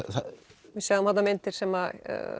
við sjáum þarna myndir sem